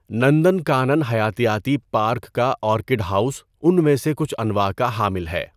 نندکانن حیاتیاتی پارک کا orchid house ان میں سے کچھ انواع کا حامل ہے۔